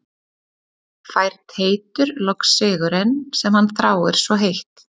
Fær Teitur loks sigurinn sem hann þráir svo heitt?